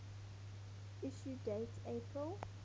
issue date april